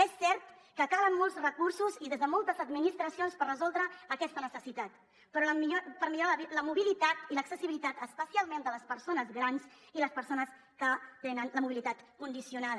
és cert que calen molts recursos i des de moltes administracions per resoldre aquesta necessitat per millorar la mobilitat i l’accessibilitat especialment de les persones grans i les persones que tenen la mobilitat condicionada